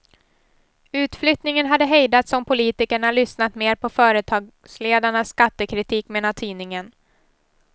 Utflyttningen hade hejdats om politikerna lyssnat mer på företagsledarnas skattekritik, menar tidningen.